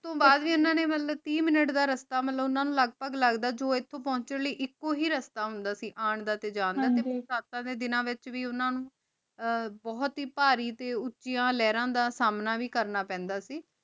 ਤੋਂ ਬਾਅਦ ਵੀ ਓਨਾ ਨੂ ਟੀ ਮਿਨਤ ਦਾ ਰਸਤਾ ਲਗਦਾ ਸੀ ਜੋ ਏਥੋਂ ਪੋਹ੍ਨ੍ਚਨ ਦਾ ਏਇਕ ਏ ਰਸਤਾ ਹੁੰਦਾ ਸੀ ਆਂ ਦਾ ਤੇ ਜਾਂ ਦਾ ਤੇ ਸੈਟਾਂ ਦੇ ਦਿਨਾਂ ਵਿਚ ਵੀ ਓਨਾਂ ਨੂ ਬੋਹਤ ਈ ਭਾਰੀ ਤੇ ਓਚਿਯਾਂ ਲੇਹ੍ਰਾਂ ਦਾ ਸੰਨਾ ਵੀ ਕਰਨਾ ਪੈਂਦਾ ਸੀ